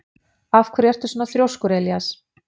Af hverju ertu svona þrjóskur, Elías?